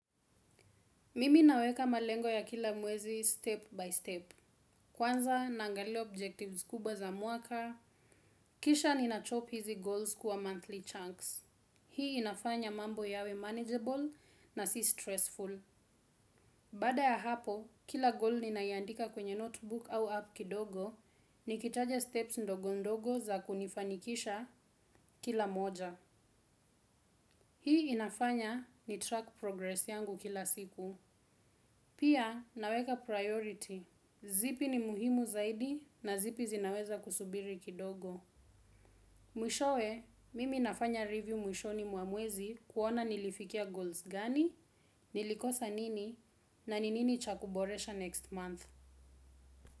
Mimi naweka malengo ya kila mwezi step by step. Kwanza, naangalia objectives kubwa za mwaka. Kisha nina chop hizi goals kuwa monthly chunks. Hii inafanya mambo yawe manageable na si stressful. Baada ya hapo, kila goal ninaiandika kwenye notebook au app kidogo, nikitaja steps ndogo ndogo za kunifanikisha kila moja. Hii inafanya ni track progress yangu kila siku. Pia, naweka priority. Zipi ni muhimu zaidi na zipi zinaweza kusubiri kidogo. Mwishowe, mimi nafanya review mwishoni mwa mwezi kuona nilifikia goals gani, nilikosa nini, na ni nini cha kuboresha next month.